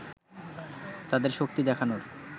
তাদের শক্তি দেখানোর